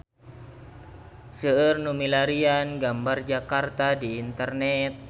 Seueur nu milarian gambar Jakarta di internet